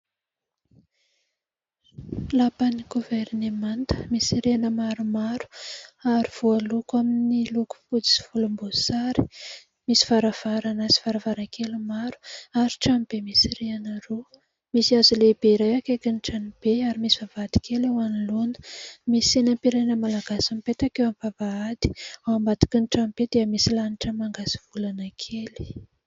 Lapan'ny goverinemanta misy rihana maromaro ary voaloko amin'ny loko fotsy sy volom-boasary, misy varavarana sy faravara-kely maro. Ary trano be misy rihana roa, misy hazo lehibe iray akaikin' ny trano be ary misy vavahady kely eo anoloana. Misy sainam-pirenena malagasy mipetaka eo am- bavahady. Ao ambadiky ny tranobe dia misy lanitra manga sy volana kely.